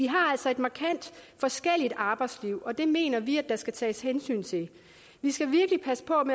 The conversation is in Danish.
har altså et markant forskelligt arbejdsliv og det mener vi skal tages hensyn til vi skal virkelig passe på